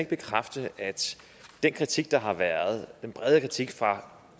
bekræfte at den kritik der har været bred kritik fra